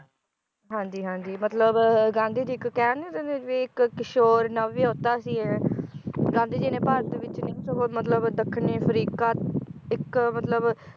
ਹਾਂਜੀ ਹਾਂਜੀ ਮਤਲਬ, ਗਾਂਧੀ ਜੀ ਇਕ ਕਹਿ ਨੀ ਦਿੰਦੇ ਵੀ ਇਕ ਕਿਸ਼ੋਰ ਨਵਵਿਹੁਤਾ ਸੀ ਇਹ ਗਾਂਧੀ ਜੀ ਨੇ ਭਾਰਤ ਵਿਚ ਨਹੀਂ ਸਗੋਂ ਮਤਲਬ ਦੱਖਣੀ ਅਫ਼ਰੀਕਾ ਇਕ ਮਤਲਬ